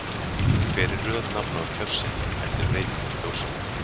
Hver er röð nafna á kjörseðli eftir breytingar kjósanda?